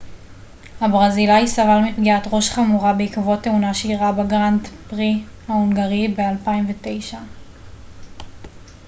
הברזילאי סבל מפגיעת ראש חמורה בעקבות תאונה שאירעה בגראנד פרי ההונגרי ב-2009